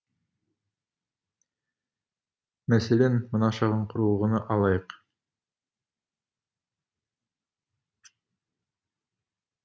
мәселен мына шағын құрылғыны алайық